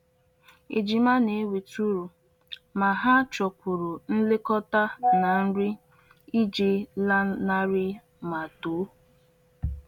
Ejima na-eweta uru, ma ha chọkwuru nlekọta na nri iji lanarị ma too.